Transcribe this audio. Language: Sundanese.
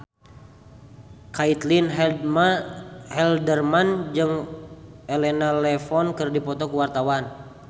Caitlin Halderman jeung Elena Levon keur dipoto ku wartawan